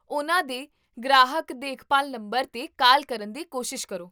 ਉਹਨਾਂ ਦੇ ਗ੍ਰਾਹਕ ਦੇਖਭਾਲ ਨੰਬਰ 'ਤੇ ਕਾਲ ਕਰਨ ਦੀ ਕੋਸ਼ਿਸ਼ ਕਰੋ